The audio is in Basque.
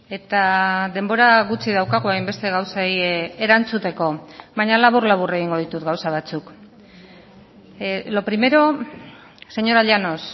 eta denbora gutxi daukagu hainbeste gauzei erantzuteko baina labur labur egingo ditut gauza batzuk lo primero señora llanos